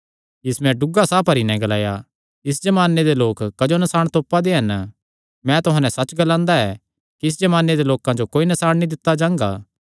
यीशुयैं डुग्गा साह भरी नैं ग्लाया इस जमाने दे लोक क्जो नसाण तोपा दे हन मैं तुहां नैं सच्च ग्लांदा कि इस जमाने दे लोकां जो कोई नसाण नीं दित्ता जांगा